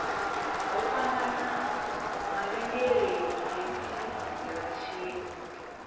ho fhambanaho mavhengeleni khefini dzigaratshini